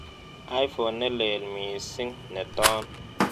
Iphone nelel miising' ne toon